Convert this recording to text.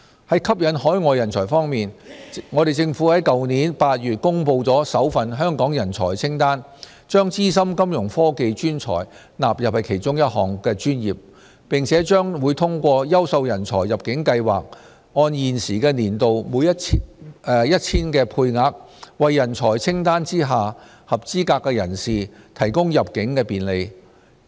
在吸引海外人才方面，政府在去年8月公布首份香港人才清單，將資深金融科技專才納入其中一項專業，並且將通過"優秀人才入境計劃"按現時年度 1,000 的配額，為人才清單下合資格人士提供入境便利。